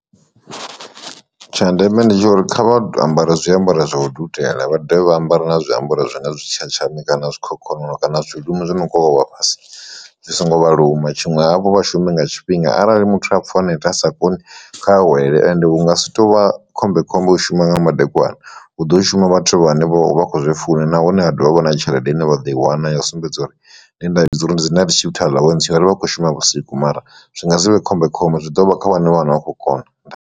Tsha ndeme ndi tsha uri kha vha ambare zwiambaro zwa u dudela vha dovhe vha ambare zwiambaro zwine a zwi tshatshavhe kana zwikhokhonono kana zwilimo zwino kovha uvha fhasi zwi songo vha luma, tshiṅwe havhu vhashumi nga tshifhinga arali muthu a pfha o neta a sa koni kha awele ende vhunga sa tou vha khombekhombe u shuma nga madekwana hu ḓo shuma vhathu vhane vho vha khou zwi funa nahone ha dovha vho na tshelede ine vha ḓo i wana ya u sumbedza uri ndi shuma vhusiku mara zwi nga zwivhe khombekhombe zwi ḓovha kha vhane vha wana vha khou kona.